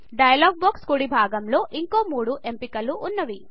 dialogue box కుడి భాగం లో ఇంకా మూడు ఎంపికలు వున్నవి